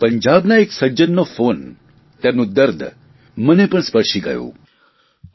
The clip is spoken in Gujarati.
પરંતુ પંજાબના એક સજ્જનનો ફોન તેમનું દર્દ મને પણ સ્પર્શી ગયું